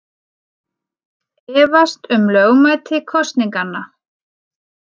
Efast um lögmæti kosninganna